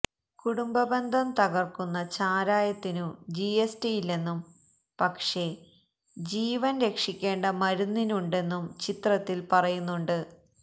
കുടുംബ ബന്ധം തകര്ക്കുന്ന ചാരായത്തിനു ജിഎസ്ടിയില്ലെന്നും പക്ഷേ ജീവന് രക്ഷിക്കേണ്ട മരുന്നിനുണ്ടെന്നും ചിത്രത്തില് പറയുന്നുണ്ട്